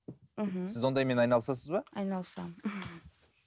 мхм сіз ондаймен айналысасыз ба айналысамын